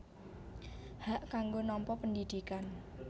Hak kanggo nampa pendidikan